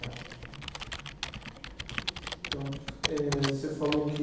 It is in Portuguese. Então eh, você falou que